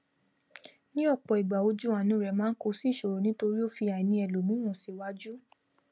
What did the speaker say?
ní òpò ìgbà ojú àánú rè máá kó sí ìsòrò nítórí ó fi àìnì elòmíràn síwàjù